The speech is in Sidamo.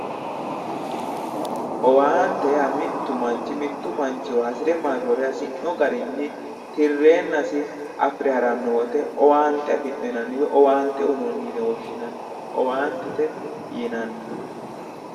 owaante yaa mittu manchi mittu manchiwa hasire marrore hasirino garinni tirreennasi afire haranno woyite owaante afirino woyi owaante uyinoonni yine woshshinanni owaantete yinanni.